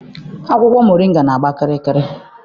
Akwụkwọ moringa na-agba kịrịkịrị.